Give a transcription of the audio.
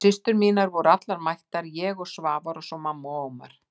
Systur mínar voru allar mættar, ég og Sævar og svo mamma og Ómar.